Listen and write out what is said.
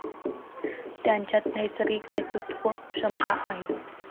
त्याच्यात नैसर्गिक नेतृत्वक्षमता आहे.